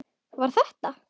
Var þetta.?